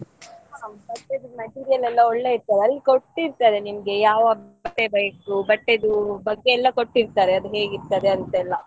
ಹಾ ಹೌದು ಬಟ್ಟೆಯದ್ದು material ಎಲ್ಲ ಒಳ್ಳೆ ಇರ್ತದೆ ಅಲ್ಲಿ ಕೊಟ್ಟಿರ್ತಾರೆ ನಿಮ್ಗೆ ಯಾವ ಬಟ್ಟೆ ಬೇಕು ಬಟ್ಟೆದು ಬಗ್ಗೆ ಎಲ್ಲ ಕೊಟ್ಟಿರ್ತಾರೆ ಅದು ಹೇಗೆ ಇರ್ತದೆ ಅಂತ ಎಲ್ಲ.